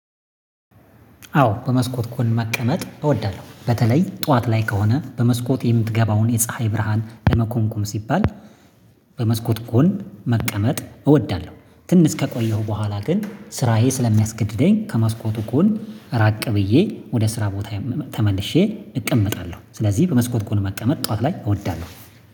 አዎ በመስኮት ጎን መቀመጥ እወዳለሁ በተለይ ጠዋት ላይ ከሆነ በመስኮት የምትገባውን የፀሀይ ብርሃን ለመኮንኮም ሲባል። በመስኮት ጎን መቀመጥ እወዳለሁ ትንሽ ከቆየሁ በኋላ ግን ስራዬ ስለሚያስገድደኝ ከመስኮቱ ጎን ነው ራቅ ብዬ ወደ ስራ ቦታዬ ተመልሼ እቀመጣለሁ። ስለዚህ በመስኮት ጎን መቀመጥ ጠዋት ላይ እወዳለሁ።